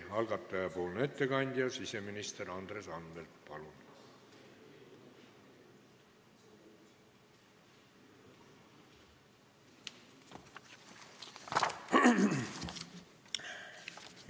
Algataja ettekandja siseminister Andres Anvelt, palun!